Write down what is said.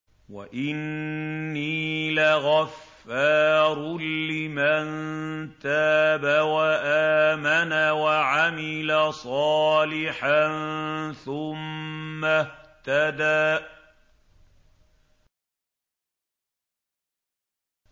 وَإِنِّي لَغَفَّارٌ لِّمَن تَابَ وَآمَنَ وَعَمِلَ صَالِحًا ثُمَّ اهْتَدَىٰ